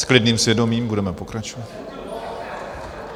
S klidným svědomím budeme pokračovat.